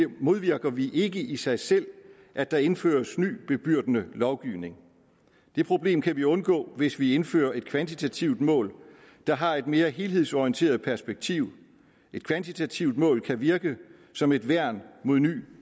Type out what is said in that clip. modvirker vi ikke i sig selv at der indføres ny bebyrdende lovgivning det problem kan vi undgå hvis vi indfører et kvantitativt mål der har et mere helhedsorienteret perspektiv et kvantitativt mål kan virke som et værn mod ny